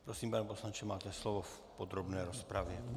Prosím, pane poslanče, máte slovo v podrobné rozpravě.